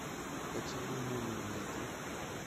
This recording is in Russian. поцелуй мумии найди